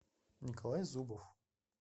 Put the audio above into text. николай зубов